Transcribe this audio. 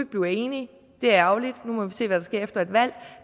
blive enige det er ærgerligt nu må vi se hvad der sker efter et valg